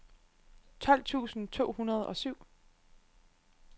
tolv tusind to hundrede og syv